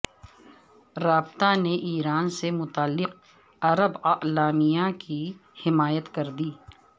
رابطہ نے ایران سے متعلق عرب اعلامیہ کی حمایت کردی